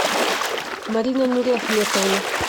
марина нуриахметовна